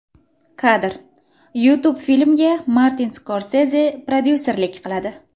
Kadr: YouTube Filmga Martin Skorseze prodyuserlik qiladi.